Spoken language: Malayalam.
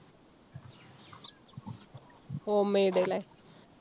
homemade ലെ?